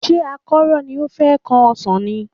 Ṣé àkọ́rọ́ ni o fẹ́ kán ọsàn ni?